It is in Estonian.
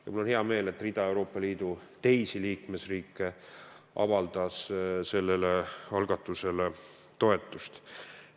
Ja mul on hea meel, et hulk Euroopa Liidu teisi liikmesriike on avaldanud sellele algatusele toetust.